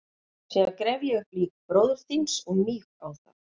Síðan gref ég upp lík bróður þíns og míg á það.